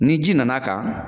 Ni ji nana kan